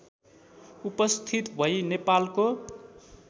उपस्थित भै नेपालको